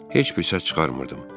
Heç bir səs çıxarmırdım.